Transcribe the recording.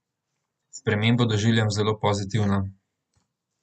Spremembo doživljam zelo pozitivno.